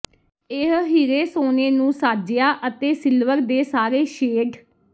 ਇਹ ਹੀਰੇ ਸੋਨੇ ਨੂੰ ਸਾਜਿਆ ਅਤੇ ਸਿਲਵਰ ਦੇ ਸਾਰੇ ਸ਼ੇਡ